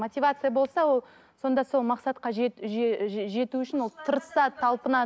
мотивация болса ол сонда сол мақсатқа жету үшін ол тырысады талпынады